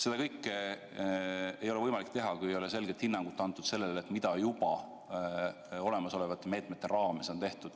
Seda kõike ei ole võimalik teha, kui ei ole antud selget hinnangut sellele, mida juba olemasolevate meetmete raames on tehtud.